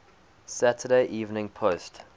saturday evening post